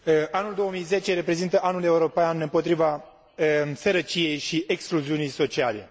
Anul 2010 reprezintă Anul european împotriva sărăciei și excluziunii sociale.